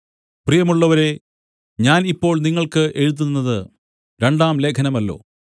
പ്രിയമുള്ളവരേ ഞാൻ ഇപ്പോൾ നിങ്ങൾക്ക് എഴുതുന്നത് രണ്ടാം ലേഖനമല്ലോ